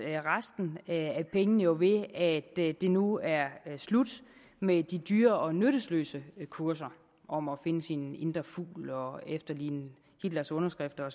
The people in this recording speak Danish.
resten af pengene jo ved at det det nu er slut med de dyre og nyttesløse kurser om at finde sin indre fugl og efterligne hitlers underskrift og